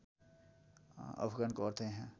अफगानको अर्थ यहाँ